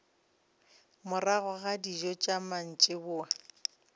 morago ga dijo tša mantšiboa